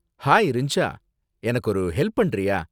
Hi ரிஞ்சா, எனக்கு ஒரு ஹெல்ப் பண்றியா?